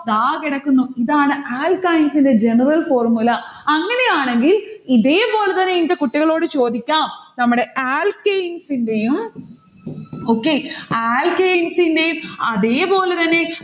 ദാ കിടക്കുന്നു. ഇതാണ് alkynes ന്റെ general formula അങ്ങനെയാണെങ്കിൽ ഇതേ പോലെത്തന്നെ ന്റെ കുട്ടികളോട് ചോദിക്കാം. നമ്മടെ alkanes ന്റെയും okay alkanes ന്റെയും അതേപോലെതന്നെ